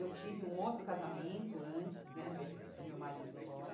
Eu tive um outro casamento antes né, desse do meu marido agora.